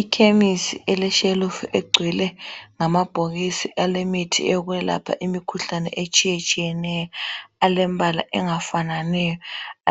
Ikhemisi eletshelifu egcwele ngamabhokisi alemithi okwelapha imikhuhlane etshiyatshiyeneyo alembala angafananiyo